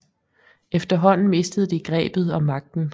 Efterhånden mistede de grebet om magten